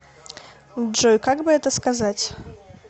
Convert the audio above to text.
джой как бы это сказать